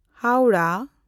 Howrah